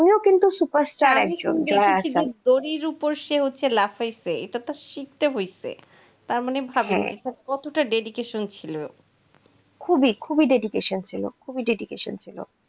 সে তো superstar কিন্তু যে দড়ির ওপর সে হচ্ছে লাফাইছে, এটা তো শিখতে হয়েছে, তার মানে ভাবুন কতটা dedication ছিল। খুবই খুবই dedication ছিল.